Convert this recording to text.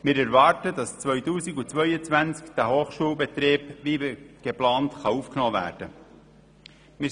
Wir erwarten, dass 2022 der Hochschulbetrieb wie geplant aufgenommen werden kann.